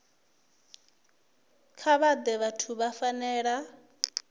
kha vhaṅwe vhathu vhu fanela